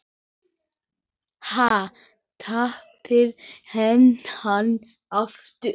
Ha, tapaði hann aftur?